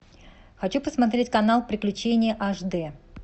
хочу посмотреть канал приключения аш дэ